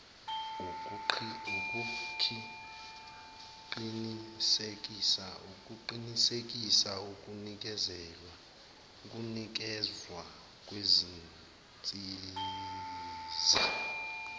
ukuqinisekisa ukunikezwa kwezinsiza